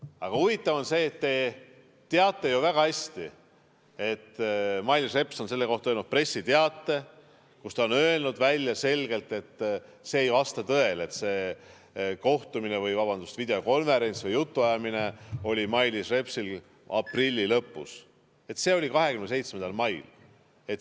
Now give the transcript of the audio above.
Aga huvitav on see, et te teate ju väga hästi, et Mailis Reps on selle kohta öelnud pressiteates selgelt: see ei vasta tõele, et see kohtumine või, vabandust, videokonverents või jutuajamine oli Mailis Repsil aprilli lõpus, see oli 27. mail.